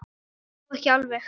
Þó ekki alveg.